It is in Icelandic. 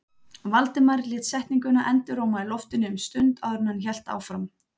Valdimar lét setninguna enduróma í loftinu um stund áður en hann hélt áfram.